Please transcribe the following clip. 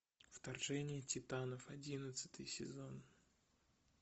вторжение титанов одиннадцатый сезон